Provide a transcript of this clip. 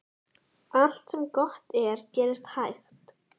Allt sem gott er gerist hægt.